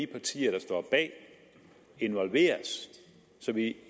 partier der står bag involveres så vi